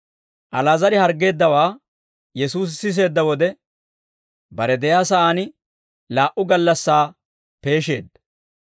Ali'aazar harggeeddawaa Yesuusi siseedda wode, bare de'iyaa sa'aan laa"u gallassaa peesheedda.